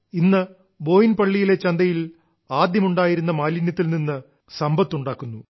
ഇന്ന് ബോയിൻപള്ളിയിലെ ചന്തയിൽ ആദ്യമുണ്ടായിരുന്ന മാലിന്യത്തിൽ നിന്ന് ഇന്ന് സമ്പത്തുണ്ടാക്കുന്നു